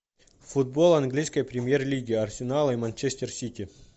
футбол английской премьер лиги арсенала и манчестер сити